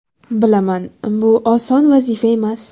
Bilaman, bu oson vazifa emas.